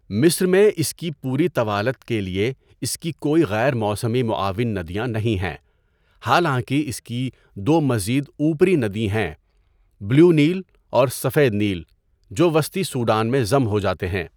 مصر میں اس کی پوری طوالت کے لیے اس کی کوئی غیر موسمی معاون ندیاں نہیں ہیں، حالانکہ اس کی دو مزید اوپری ندییں ہیں، بلیو نیل اور سفید نیل، جو وسطی سوڈان میں ضم ہو جاتے ہیں۔